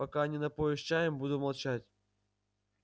пока не напоишь чаем буду молчать